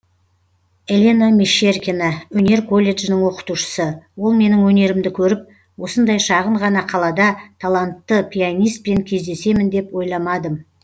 елена мещеркина өнер колледжінің оқытушысы ол менің өнерімді көріп осындай шағын ғана қалада талантты пианиспен кездесемін деп ойламадым